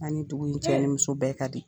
An ni dugu nin cɛ ni muso bɛɛ kadi.